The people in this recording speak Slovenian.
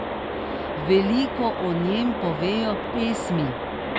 Veliko o njem povejo pesmi.